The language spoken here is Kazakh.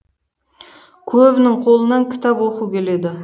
көбінің қолынан кітап оқу келеді